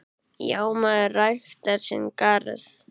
Já, maður ræktar sinn garð.